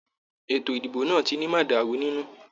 Ètò ìdìbò náà tí ni mọ̀dàrú nínú.